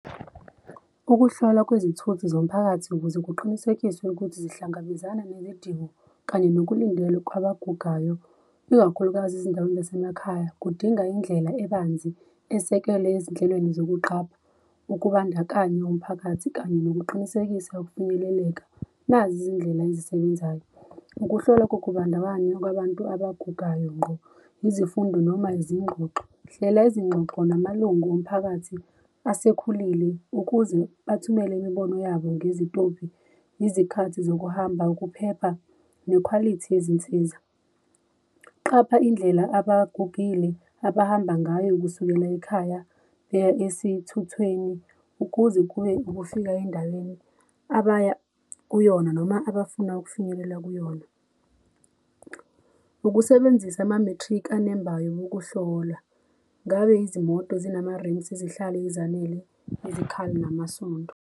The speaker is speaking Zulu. Ukuhlola kwezithuthi zomphakathi ukuze kuqinisekiswe ukuthi zihlangabezana nezidingo kanye nokulindele kwabagugayo ikakhulukazi ezindaweni zasemakhaya. Kudinga indlela ebanzi esekelwe ezinhlelweni zokuqapha ukubandakanywa umphakathi kanye nokuqinisekisa ukufinyeleleka. Nazi izindlela ezisebenzayo ukuhlola kokubandakanya kwabantu abagugayo ngqo, izifundo noma izingxoxo. Hlela izingxoxo namalungu omphakathi asekhulile ukuze bathumele imibono yabo ngezitobhi izikhathi zokuhamba, ukuphepha nekhwalithi yezinsiza. Qapha indlela abagugile abahamba ngayo kusukela ekhaya beya esithuthweni kuze kube ukufika endaweni abaya kuyona noma abafuna ukufinyelela kuyona. Ukusebenzisa ama-matric anembayo wokuhlola. Ngabe izimoto zinama-rims izihlali ezanele izikhali namasondo?